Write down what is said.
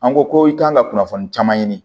An ko ko i kan ka kunnafoni caman ɲini